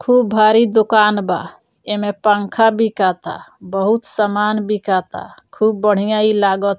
खुब भारी दुकान बा एमें पंखा बिकाता बहुत सामान बिकाता खुब बढ़िया ई लागत --